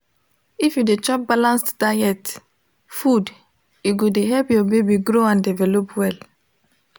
if you de chop balanced diet food e go de help ur baby grow and develop well